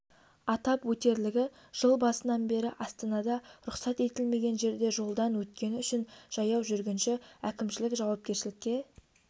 атап өтерлігі жыл басынан бері астанада рұқсат етілмеген жерде жолдан өткені үшін жаяу жүргінші әкімшілік жауапкершілікке